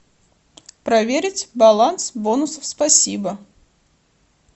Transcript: проверить баланс бонусов спасибо